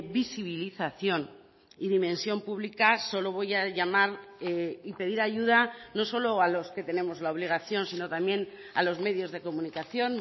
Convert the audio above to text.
visibilización y dimensión pública solo voy a llamar y pedir ayuda no solo a los que tenemos la obligación sino también a los medios de comunicación